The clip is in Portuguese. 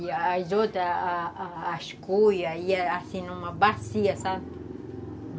E as outras, a a as cuias, ia assim numa bacia, sabe?